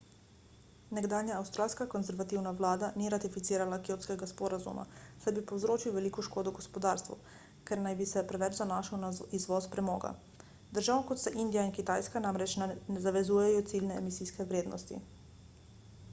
nekdanja avstralska konservativna vlada ni ratificirala kjotskega sporazuma saj bi povzročil veliko škodo gospodarstvu ker naj bi se preveč zanašal na izvoz premoga držav kot sta indija in kitajska namreč ne zavezujejo ciljne emisijske vrednosti